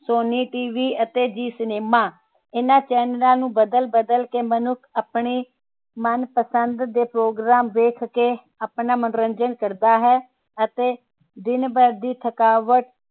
Sony TV ਤੇ Zeecinema ਇਹਨਾਂ channel ਨੂੰ ਬਦਲ ਬਦਲ ਕੇ ਮਨੁੱਖ ਆਪਣੇ ਮਨਪਸੰਦ ਦੇ program ਵੇਖ ਕੇ ਆਪਣਾ ਮਨੋਰੰਜਨ ਕਰਦਾ ਹੈ ਤੇ ਦਿਨਭਰ ਦੀ ਥਕਾਵਟ